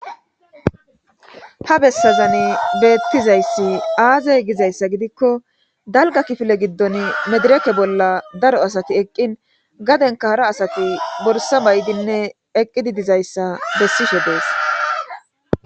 Ha besan betizaysi azze gizaysa gidiko dalga kifile gidon medireke bolla daro asati eqin gadenka hara asati borsa ba'idi eqi dizaaysa besishe des